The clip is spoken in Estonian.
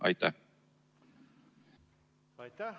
Aitäh!